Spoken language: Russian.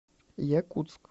якутск